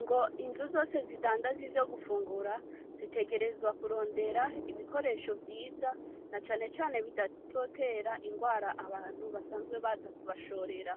Ngo inzu zose zidandaza ivyo gufungura zitegerezwa kurondera ibikoresho vyiza, na canecane bitazotera ingwara abantu basanzwe baza kubashorera,